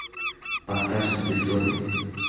поставь непристойность